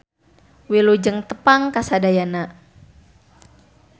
Wilujeng tepang kasadayana.